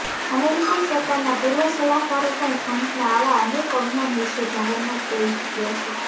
American સરકારના પૂર્વ સલાહકારો પણ ટ્રમ્પના આવા અનેક અજ્ઞાન વિશે જાહેરમાં કહી ચૂકયા છે